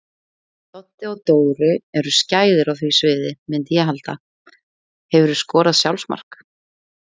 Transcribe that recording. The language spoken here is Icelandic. Doddi og Dóri eru skæðir á því sviði myndi ég halda Hefurðu skorað sjálfsmark?